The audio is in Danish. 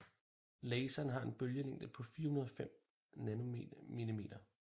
Laseren har en bølgelængde på 405 nm